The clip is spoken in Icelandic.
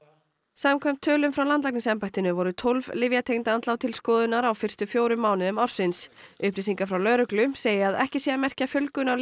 samkvæmt tölum frá landlæknisembættinu voru tólf lyfjatengd andlát til skoðunar á fyrstu fjórum mánuðum ársins upplýsingar frá lögreglu segja að ekki sé að merkja fjölgun á